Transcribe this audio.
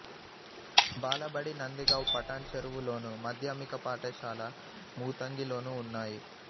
బాలబడి నందిగావ్ పటాన్ చెరువులోను మాధ్యమిక పాఠశాల మూతంగిలోనూ ఉన్నాయి